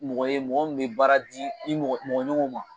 Mɔgɔ ye mɔgɔ min bɛ baara di i mɔgɔ ɲɔgɔnw ma